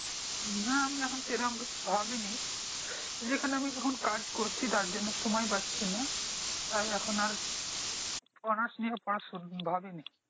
নাহ আমি এখন সেরকম কিছু ভাবিনি যেখানে আমি এখন কাজ করছি তার জন্য সময় পাচ্ছিনা তাই এখন আর অনার্স নিয়েও পড়া শু ভাবিনি